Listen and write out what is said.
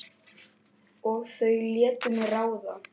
Og þau létu mig ráða.